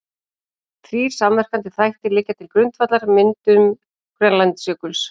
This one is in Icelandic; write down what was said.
Þrír samverkandi þættir liggja til grundvallar myndun Grænlandsjökuls.